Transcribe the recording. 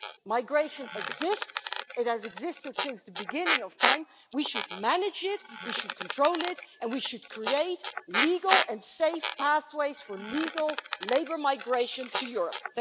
Migration exists, it has existed since the beginning of time, we should manage it, we should control it, and we should create legal and safe pathways for legal labour migration to Europe.